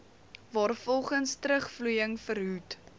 waarvolgens terugvloeiing verhoed